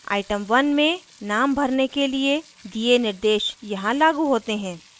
item 1 में name भरने के लिए दिए निर्देश यहाँ लागू होते हैं